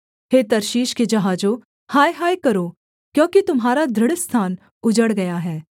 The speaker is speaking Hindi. हे तर्शीश के जहाजों हाय हाय करो क्योंकि तुम्हारा दृढ़ स्थान उजड़ गया है